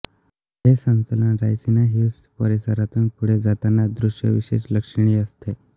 हे संचलन रायसीना हिल्स परिसरातून पुढे जातानाच दृश्य विशेष लक्षणीय असते